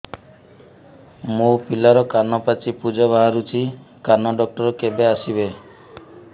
ମୋ ପିଲାର କାନ ପାଚି ପୂଜ ବାହାରୁଚି କାନ ଡକ୍ଟର କେବେ ଆସିବେ